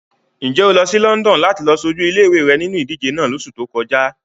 Ǹ jẹ́ o lọ sí London láti lọ ṣojú ilé-ìwé rẹ nínu ìdíje náà lóṣù tó kọjá?